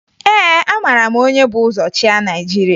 Ee, amara m onye bu ụzọ chịa Naịjirịa